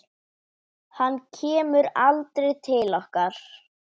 Hann kemur aldrei til okkar.